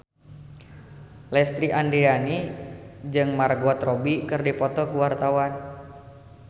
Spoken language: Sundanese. Lesti Andryani jeung Margot Robbie keur dipoto ku wartawan